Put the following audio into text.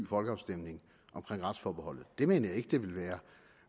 folkeafstemning om retsforbeholdet det mener jeg ikke at det ville være